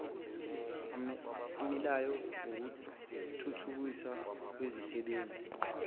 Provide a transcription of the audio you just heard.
amileyo ngokuthuthukiswa kwizisebenzi